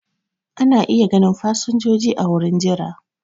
Ana iya ganin fasinjoji a wurin jira.